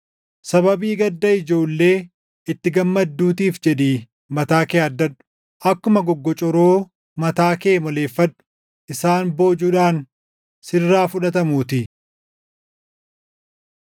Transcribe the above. Sababii gadda ijoollee itti gammadduutiif jedhii mataa kee haaddadhu; akkuma goggocoroo mataa kee moleeffadhu; isaan boojuudhaan sirraa fudhatamuutii.